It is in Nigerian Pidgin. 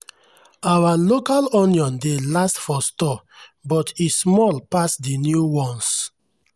our local onion dey last for store but e small pass the new ones.